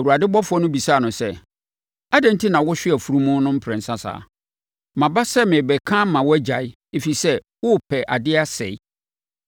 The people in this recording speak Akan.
Awurade ɔbɔfoɔ no bisaa no sɛ, “Adɛn enti na wohwe wʼafunumu no mprɛnsa saa? Maba sɛ merebɛka ama woagyae, ɛfiri sɛ, worepɛ adeɛ asɛe.